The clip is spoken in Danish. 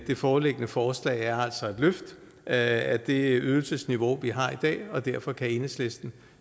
det foreliggende forslag er altså et løft af det ydelsesniveau vi har i dag og derfor kan enhedslisten